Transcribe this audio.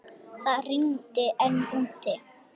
Það rigndi enn úti.